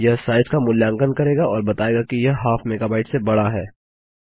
यह साइज का मूल्यांकन करेगा और बतायेगा कि यह हाफ मेगाबाइट से बड़ा है